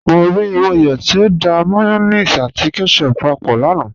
Mọ́ ríí Mọ́yọ̀ tí ó dá mayonnaise àti ketchup pápọ̀ lánà.